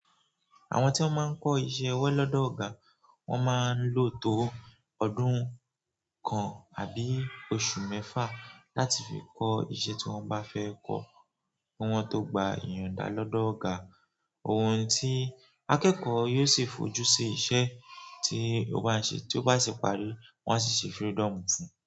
Àwọn tí ón máa ń kọ́ iṣẹ́ ọwọ́ lọ́dọ̀ ọ̀gá, wọ́n máa ń lò tó ọdún kan àbí oṣù mẹ́fà láti fi kọ́ ìṣe tí wọ́n bá fẹ́ kọ́ kí wọ́n tó gba ìyònda lọ́dọ̀ ọ̀gá. Ohun tí akẹ́kọ̀ọ́ yóò sì fojú sí iṣẹ́ tí ó bá ń ṣe tí ó bá sì parí, wọ́n a sì ṣe freedom fún.